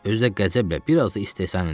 Özü də qəzəblə, biraz da istehza ilə dedim.